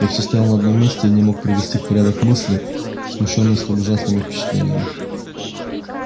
я всё стоял на одном месте и не мог привести в порядок мысли смущённые столь ужасными впечатлениями